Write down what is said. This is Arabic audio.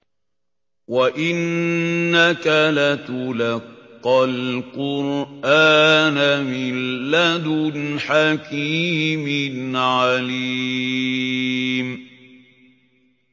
وَإِنَّكَ لَتُلَقَّى الْقُرْآنَ مِن لَّدُنْ حَكِيمٍ عَلِيمٍ